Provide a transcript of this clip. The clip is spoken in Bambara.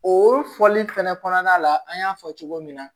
O fɔli fɛnɛ kɔnɔna la an y'a fɔ cogo min na